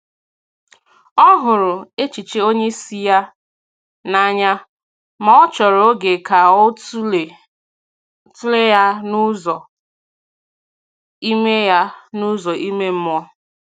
Ọ hụrụ echiche onye isi ya n’anya, ma ọ chòrò oge ka ọ tụlee ya n’ụzọ ime ya n’ụzọ ime mmụọ.